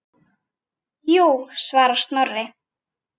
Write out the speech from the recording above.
Jú svarar Snorri.